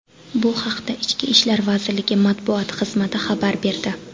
Bu haqda Ichki ishlar vazirligi matbuot xizmati xabar berdi .